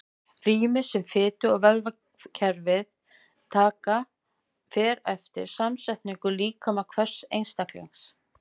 Rýmið sem fitu- og vöðvavefir taka fer eftir samsetningu líkama hvers einstaklings.